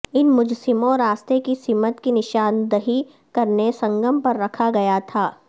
ان مجسموں راستے کی سمت کی نشاندہی کرنے سنگم پر رکھا گیا تھا